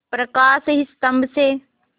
प्रकाश स्तंभ से